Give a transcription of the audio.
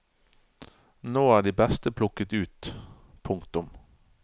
Nå er de beste plukket ut. punktum